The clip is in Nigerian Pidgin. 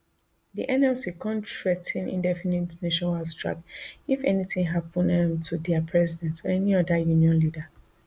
di nlc kon threa ten indefinite nationwide strike if anytin happun um to dia president or any oda union leader